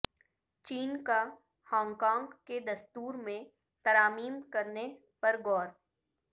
چین کا Hong Kong کے دستور میں ترامیم کرنے پر غور